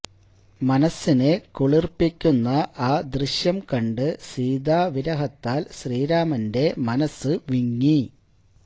മനസ്സിനെ കുളിര്പ്പിക്കുന്ന ആ ദൃശ്യം കണ്ട് സീതാവിരഹത്താല് ശ്രീരാമന്റെ മനസ്സു വിങ്ങി